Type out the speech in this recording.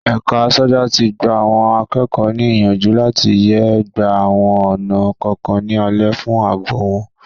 Ẹ̀ka aṣọ́gbà tí gba àwọn akẹ́kọ̀ọ́ ní ìyànjú láti yé gba àwọn ọ̀nà kọ̀ọ̀kan ní alẹ̀ fún àbò wọn.